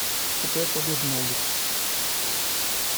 какая погода на улице